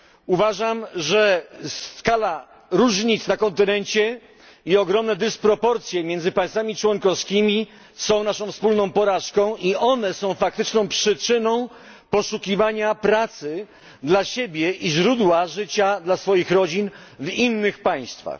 Uważam, że skala różnic na kontynencie i ogromne dysproporcje między państwami członkowskimi są naszą wspólną porażką i one są faktyczną przyczyną poszukiwania pracy dla siebie i źródła życia dla swoich rodzin w innych państwach.